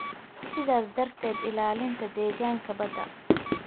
sidaas darteed ilaalinta deegaanka badda.